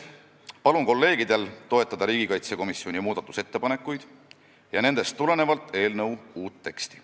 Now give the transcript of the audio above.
Palun kolleegidel toetada riigikaitsekomisjoni muudatusettepanekuid ja nendest tulenevalt eelnõu uut teksti.